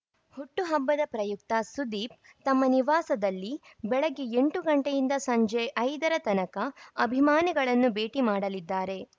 ಹುಟ್ಟುಹಬ್ಬದ ಪ್ರಯುಕ್ತ ಸುದೀಪ್‌ ತಮ್ಮ ನಿವಾಸದಲ್ಲಿ ಬೆಳಗ್ಗೆ ಎಂಟು ಗಂಟೆಯಿಂದ ಸಂಜೆ ಐದರ ತನಕ ಅಭಿಮಾನಿಗಳನ್ನು ಭೇಟಿ ಮಾಡಲಿದ್ದಾರೆ